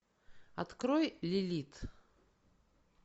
открой лилит